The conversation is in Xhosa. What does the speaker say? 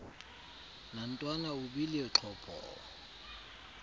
nantwana ubile xhopho